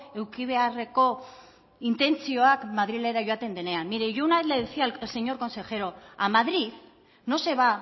eduki beharreko intentzioak madrilera joaten denean mire yo una vez le decía al señor consejero a madrid no se va